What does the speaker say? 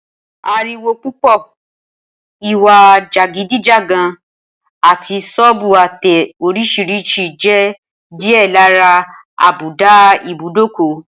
Ariwo púpò̩, ìwà jàgídíjàgan, àti só̩ò̩bù àte̩ orís̩irís̩i jé̩ díè̩ lára àbùdá ibùdókò